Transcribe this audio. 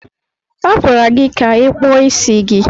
A gwara gị ka ị kpụọ isi gị.